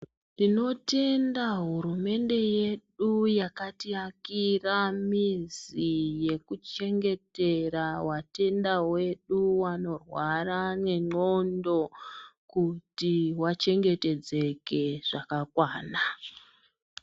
Tinotenda hurumende yedu yakati akira mizi yeku chengetera vatenda vedu vano rwara ne ndxondo kuti vachengetedzeke zvakakwana.